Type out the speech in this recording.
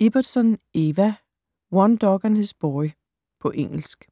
Ibbotson, Eva: One dog and his boy På engelsk.